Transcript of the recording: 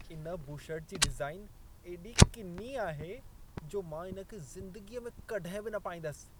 इन बुशर्ट जी डिज़ाइन एॾी किनी आहे जो मां इन खे ज़िंदगीअ में कॾहिं बि न पाईंदसि।